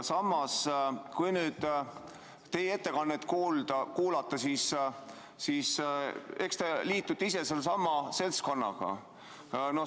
Samas, kui nüüd teie ettekannet kuulata, siis eks te liitute ise ka sellesama seltskonnaga.